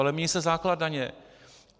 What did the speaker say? Ale mění se základ daně.